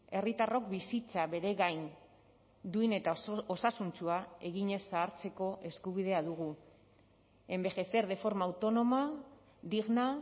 herritarrok bizitza bere gain duin eta osasuntsua eginez zahartzeko eskubidea dugu envejecer de forma autónoma digna